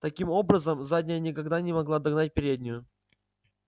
таким образом задняя никогда не могла догнать переднюю